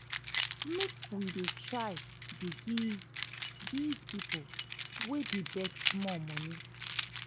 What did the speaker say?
make you dey try dey try give dis pipo wey dey beg small moni